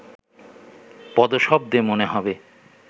পদশব্দে মনে হবে